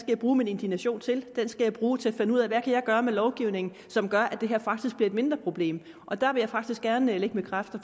jeg bruge min indignation til den skal jeg bruge til at finde ud af hvad jeg kan gøre ved lovgivningen som gør at det her bliver et mindre problem og der vil jeg faktisk gerne lægge mine kræfter